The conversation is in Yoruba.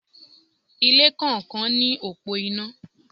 Ilé kọ̀ọ̀kan ní òpó iná.